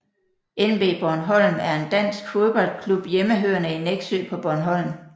NB Bornholm er en dansk fodboldklub hjemmehørende i Nexø på Bornholm